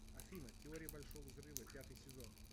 афина теория большого взрыва пятый сезон